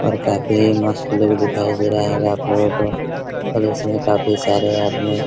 और काफी मस्त लुक दिखाई दे रहा होगा आपलोगों को और इसमें काफी सारे आदमी--